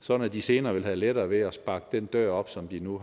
sådan at de senere vil have lettere ved at sparke den dør op som de nu